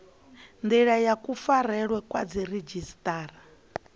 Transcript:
ndila ya kufarelwe kwa dziredzhisiṱara